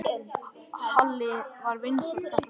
Halli var vinsæll þetta kvöld.